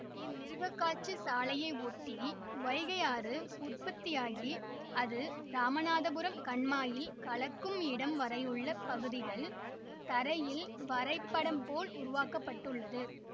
இம்மிருகக்காட்சி சாலையை ஒட்டி வைகை ஆறு உற்பத்தியாகி அது இராமநாதபுரம் கண்மாயில் கலக்கும் இடம் வரையுள்ள பகுதிகள் தரையில் வரைபடம் போல் உருவாக்க பட்டுள்ளது